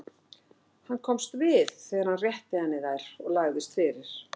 Hann komst við þegar hann rétti henni þær og lagðist fyrir.